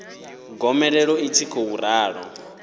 gomelelo ḽi tshi khou ralo